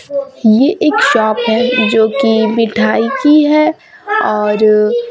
ये एक शॉप ये जो कि मिठाई की है और--